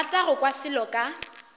rata go kwa selo ka